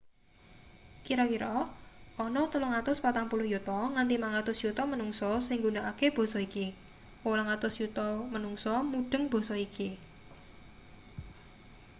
kira-kira ana 340 yuta nganti 500 yuta manungsa sing nggunakake basa iki 800 yuta manungsa mudheng basa iki